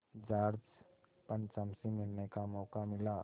George पंचम से मिलने का मौक़ा मिला